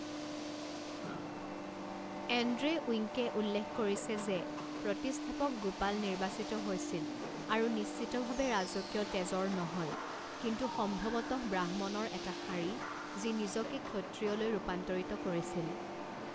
Andrae উইঙ্কে উল্লেখ কৰিছে যে প্ৰতিষ্ঠাপক গোপাল নিৰ্বাচিত হৈছিল, আৰু নিশ্চিতভাৱে ৰাজকীয় তেজৰ নহয় কিন্তু সম্ভৱতঃ ব্ৰাহ্মণৰ এটা শাৰী যি নিজকে ক্ষত্ৰিয়লৈ ৰূপান্তৰিত কৰিছিল।